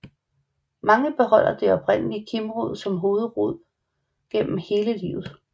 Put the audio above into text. Mange beholder den oprindelige kimrod som hovedrod gennem hele livet